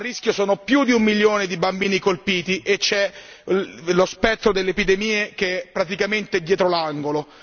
A rischio sono più di un milione di bambini colpiti e lo spettro delle epidemie è praticamente dietro l'angolo.